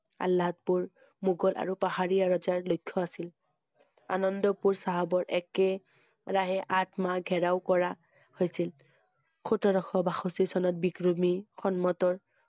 আল্লাহদপুৰ মোগল আৰু পাহাৰীয়া ৰজাৰ লক্ষ্য আছিল। অনন্দপুৰ চাহাবৰ একে~ৰাহে আঠ মাহ ঘেৰাও কৰা হৈছিল। সোতৰশ বাষষ্ঠি চনত বিক্ৰুমি সম্মতৰ